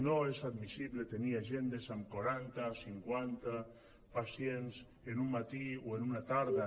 no és admissible tenir agendes amb quaranta o cinquanta pacients en un matí o en una tarda